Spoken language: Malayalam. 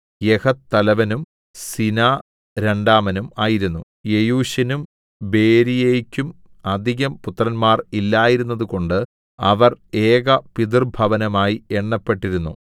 യഹത്ത് തലവനും സീനാ രണ്ടാമനും ആയിരുന്നു യെയൂശിനും ബെരീയെക്കും അധികം പുത്രന്മാർ ഇല്ലാതിരുന്നതുകൊണ്ടു അവർ ഏകപിതൃഭവനമായി എണ്ണപ്പെട്ടിരുന്നു